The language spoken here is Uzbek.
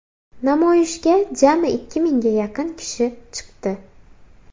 Namoyishga jami ikki mingga yaqin kishi chiqdi.